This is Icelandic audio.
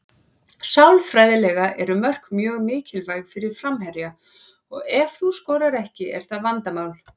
Sálfræðilega eru mörk mjög mikilvæg fyrir framherja og ef þú skorar ekki er það vandamál.